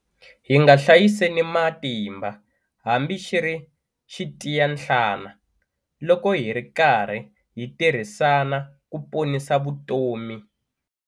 Hi nga hlayiseni matimba hambi xi ri xitiyanhlana loko hi ri karhi hi tirhisana ku ponisa vutomi.